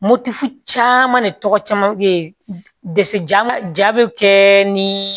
Moti caman ne tɔgɔ caman be ja ja be kɛ ni